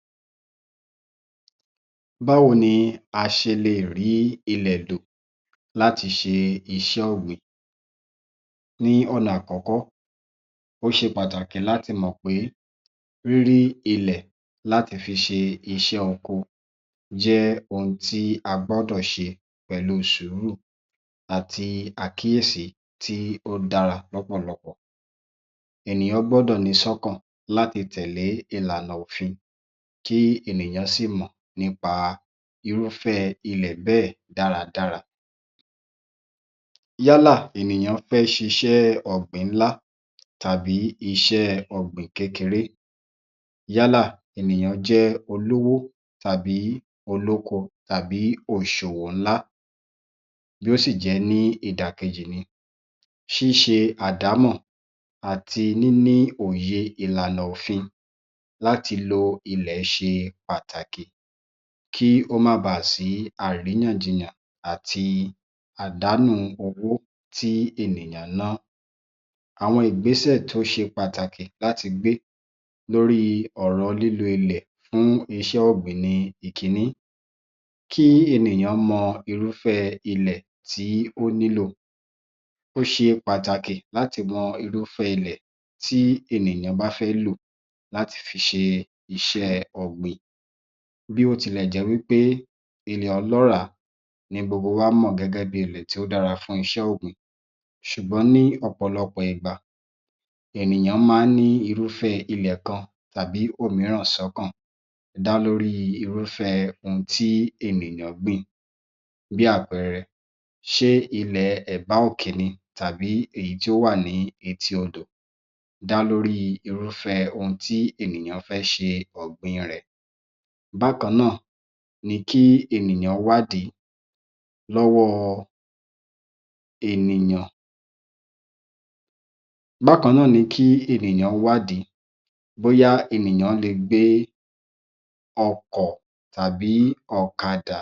35. Báwo ni a ṣe lè rí ilẹ̀ lò láti ṣe iṣẹ́ ọ̀gbìn Ní ọ̀nà àkọ́kọ́, ó ṣe pàtàkì láti mọ̀ pé rírí ilẹ̀ láti fi ṣe iṣẹ́ oko jẹ́ ohun tí a gbọ́dọ̀ ṣe pẹ̀lú sùúrù àti àkíyèsí tí ó dára lọ́pọ̀lọpọ̀. Ènìyàn gbọ́dọ̀ ni sọ́kàn láti tẹ̀lé ìlànà òfin tí ènìyàn sì mọ̀ nípa irúfẹ́ ilẹ̀ bẹ́ẹ̀ dáradára. Yálà ènìyàn fẹ́ ṣiṣẹ́ ọ̀gbìn ńlá tàbí iṣẹ́ ọ̀gbìn kékeré yálà ènìyàn jẹ́ olówó àti olóko tàbí ọ̀ǹṣòwò ńlá yóò sì jẹ́ ní ìdàkejì ni. Ṣíṣe àdámọ̀ àti níní òye ìlànà òfin láti lo ilẹ̀ ṣe pàtàkì kí ó má baà sí àríyànjiyàn àti àdánù owó tí ènìyàn ná. Àwọn ìgbéṣẹ̀ tó ṣe pàtàkì láti gbé lórí ọ̀rọ̀ lílo ilẹ̀ fún iṣẹ́ ọ̀gbìn ni ìkíní, kí ènìyàn mọ irúfẹ́ ilẹ̀ tí ó nílò, ó ṣe pàtàkì láti mọ irúfẹ́ ilẹ̀ tí ènìyàn bá fẹ́ lò láti fi ṣe iṣẹ́ẹ ọ̀gbìn. Bí ó tilẹ̀ jẹ́ wí pé ilẹ̀ olọ́ràá ni gbogbo wa mọ̀ gẹ́gẹ́ bíi ilẹ̀ tí ó dára fún iṣẹ́ ọ̀gbìn ṣùgbọ́n ní ọ̀pọ̀lọpọ̀ ìgbà ènìyàn máa ń ní irúfẹ́ ilẹ̀ kan tàbí òmíràn sọ́kàn dá lórí irúfẹ́ ohun tí ènìyàn gbìn bí àpẹẹrẹ, ṣé ilẹ̀ ẹ̀bá-òke ni tàbí èyí tí ó wà ní etí odò dá lórí irúfẹ́ ohun tí ènìyàn fẹ́ ṣe ọ̀gbìn rẹ̀. Bákan náà ni kí ènìyàn wádìí lọ́wọ́ ènìyàn, bákan náà ni kí ènìyàn wádìí bóyá ènìyàn lè gbé ọkọ̀ tàbí ọ̀kadà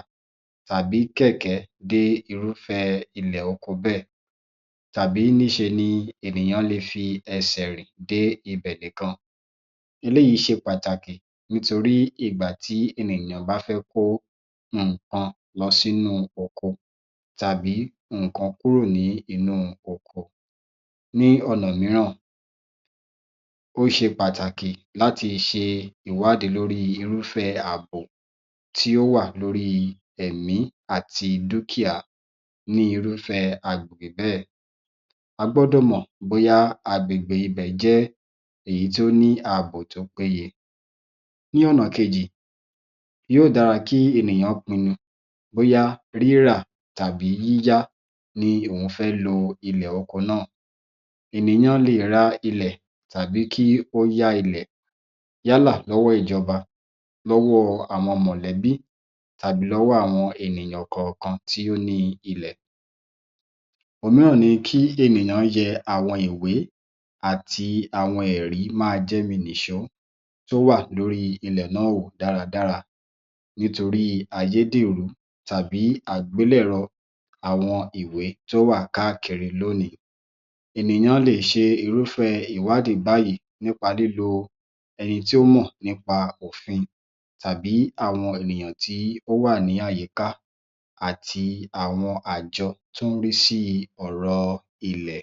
tàbí kẹ̀kẹ́ dé irúfẹ́ ilẹ̀ oko bẹ́ẹ̀ tàbí níṣe ni ènìyàn le fi ẹsẹ̀ rìn dé ibẹ̀ nìkan, eléyìí ṣe pàtàkì nítorí ìgbà tí ènìyàn bá fẹ́ kó nǹkan lọ sínú oko tàbí nǹkan kúrò nínú oko. Ní ọ̀nà mìíràn, ó ṣe pàtàkì láti ṣe ìwádìí lórí irúfẹ́ ààbò tí ó wà lórí ẹ̀mí àti dúkìá ní irúfẹ́ agbègbè bẹ́ẹ̀. A gbọ́dọ̀ mọ̀ bóyá agbègbè ibẹ̀ jẹ́ èyí tí ó ní ààbò tó péye. Ní ọ̀nà kejì, yóò dára kí ènìyàn pinnu bóyá rírà tàbí yíya ni òún fẹ́ lo ilẹ̀ oko náà. Ènìyàn lè ra ilẹ̀ tàbí kí ó yá ilẹ̀ yálà lọ́wọ́ ìjọba lọ́wọ́ àwọn mọ̀lẹ́bí tàbí lọ́wọ́ àwọn ènìyàn kọ̀ọ̀kan tí ó ní ilẹ̀. Òmíràn ni kí ènìyàn yẹ àwọn ìwé àti àwọn ẹ̀rí máajẹ́mi nìṣó tó wà lórí ilẹ̀ náà wò dáradára nítorí ayédèrú tàbí àbelẹ̀rọ àwọn ìwé tí ó wà káàkiri lónìí. Ènìyàn lè ṣe irúfẹ́ ìwádìí báyìí nípa lílo ẹni tí ó mọ̀ nípa òfin tàbí àwọn ènìyàn tí ó wà ní àyíká àti àwọn àjọ tó ń rí sí ọ̀rọ̀ ilẹ̀.